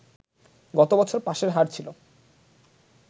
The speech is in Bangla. গত বছর পাসের হার ছিল